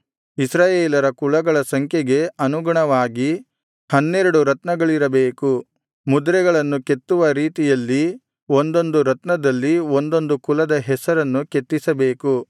ಇಸ್ರಾಯೇಲರ ಕುಲಗಳ ಸಂಖ್ಯೆಗೆ ಅನುಗುಣವಾಗಿ ಹನ್ನೆರಡು ರತ್ನಗಳಿರಬೇಕು ಮುದ್ರೆಗಳನ್ನು ಕೆತ್ತುವ ರೀತಿಯಲ್ಲಿ ಒಂದೊಂದು ರತ್ನದಲ್ಲಿ ಒಂದೊಂದು ಕುಲದ ಹೆಸರನ್ನು ಕೆತ್ತಿಸಬೇಕು